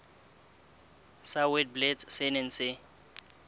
sa witblits se neng se